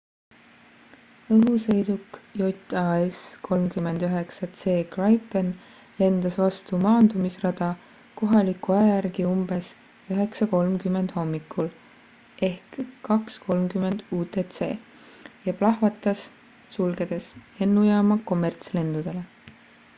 õhusõiduk jas 39 c gripen lendas vastu maandumisrada kohaliku aja järgi umbes 9.30 hommikul 02.30 utc ja plahvatas sulgedes lennujaama kommertslendudele